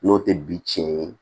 N'o tɛ bi tiɲɛ ye